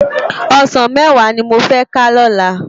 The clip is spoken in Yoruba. Òsán mèwá ni mó fè ká lòlá